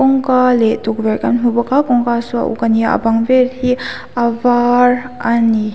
kawngka leh tukverh kan hmu bawk a kawngka saw a uk a ni a a bang vel hi a var a ni